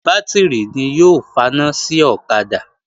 Bátìrì ni yóò faná sí ọ̀kadà